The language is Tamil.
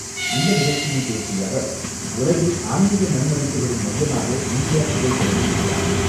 இந்த நிகழ்ச்சியில் பேசிய அவர், உலகில் ஆன்மீக நன்மதிப்புகளின் மையமாக இந்தியா திகழ்கிறது என்றார்.